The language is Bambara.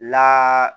La